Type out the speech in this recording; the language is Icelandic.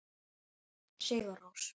Sigur Rós.